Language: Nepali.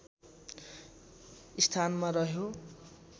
स्थानमा रह्यो